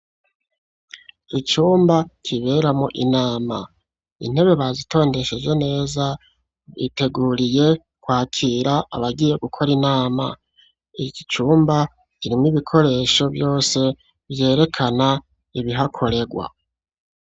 Icumba kiberamwo inama; intebe bazitondesheje neza biteguriye kwakira abagiye gukora inama. Iki cumba kirimwo ibikoresho vyose vyerekana ibihakorerwa.